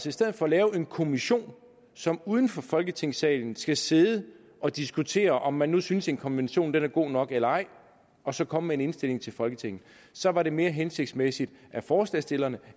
i stedet for at lave en kommission som uden for folketingssalen skal sidde og diskutere om man nu synes en konvention er god nok eller ej og så komme med en indstilling til folketinget så er det mere hensigtsmæssigt at forslagsstillerne